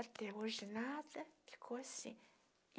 Até hoje nada, ficou assim.